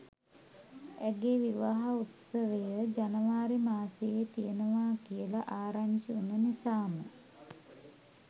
ඇගේ විවාහ උත්සවය ජනවාරි මාසයේ තියෙනවා කියලා ආරංචි වුණ නිසාම